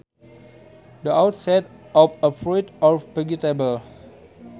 The outside of a fruit or vegetable